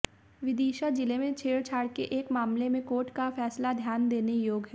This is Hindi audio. विदिशा जिले में छेड़छाड़ के एक मामले में कोर्ट का फैसला ध्यान देने योग्य है